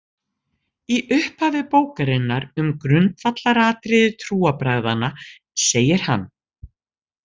Í upphafi bókarinnar um grundvallaratriði trúarbragðanna segir hann: